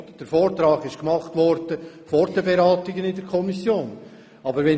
Dieser wurde vor den Beratungen in der Kommission erstellt.